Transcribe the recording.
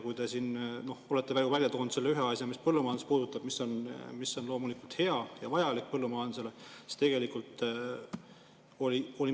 Te siin olete välja toonud selle ühe asja, mis puudutab põllumajandust, ning mis on loomulikult hea ja vajalik põllumajandusele.